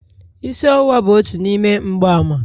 Isi ọwụwa bụ otu n'ime mgbaàmà..